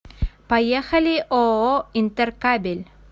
поехали ооо интеркабель